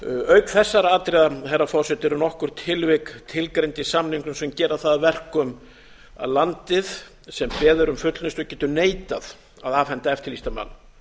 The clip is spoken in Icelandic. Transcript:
auk þessara atriða herra forseti eru nokkur tilvik tilgreind í samningnum sem gera það að verkum að landið sem beðið er um fullnustu getur neitað að afhenda eftirlýstan mann